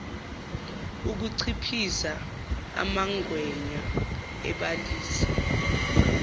ukuchiphiza umangwenya ebalisa